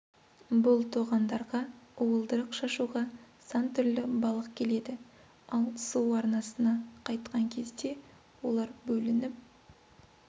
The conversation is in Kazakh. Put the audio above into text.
бұл тоғандарға уылдырық шашуға сан түрлі балық келеді ал су арнасына қайтқан кезде олар бөлініп